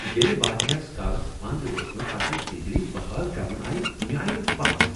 ییٚلہ واریاہس کالس بند روزنہٕ پتہٕ بجلی بحال کرنہٕ آیہ مےٚ آیہ نہٕ پژھ۔